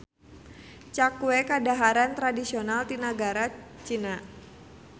Cakue kadaharan tradisional ti nagari Cina.